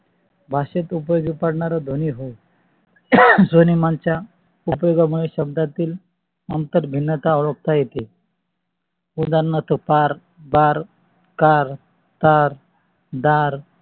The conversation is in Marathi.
भाषेत उपयोगी पडणार ध्वनी होय. स्वनेमान च्या मुळे शब्दातील अंतर भिंता ओळखता येते. ओदार्नार्थ फार फार car दार दार